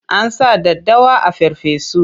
Ana sa daddawa a farfesu.